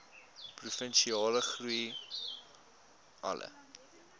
provinsiale groei alle